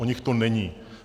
O nich to není.